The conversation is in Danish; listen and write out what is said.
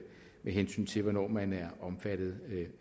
hensyn til hvornår man er omfattet